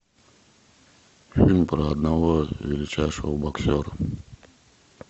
фильм про одного величайшего боксера